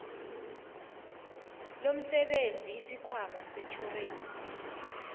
lomsebenzi isikhwama setjhorensi